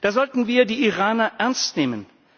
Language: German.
Da sollten wir die Iraner ernst nehmen.